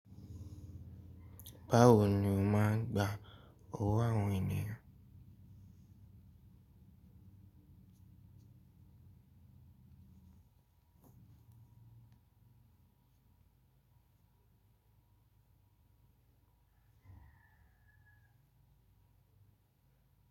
Báwo ni o máa ń gba owó àwọn ènìyàn?